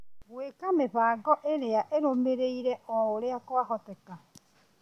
Gwĩka mĩhang'o iria irũmĩrĩire oũrĩa kwahoteka